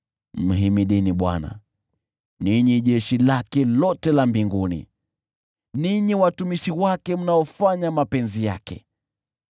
Mhimidini Bwana , ninyi jeshi lake lote la mbinguni, ninyi watumishi wake mnaofanya mapenzi yake.